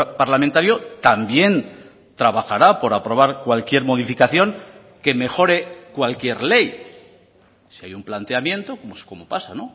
parlamentario también trabajará por aprobar cualquier modificación que mejore cualquier ley si hay un planteamiento como pasa